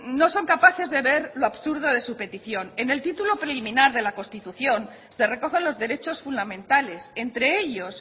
no son capaces de ver lo absurdo de su petición en el título preliminar de la constitución se recogen los derechos fundamentales entre ellos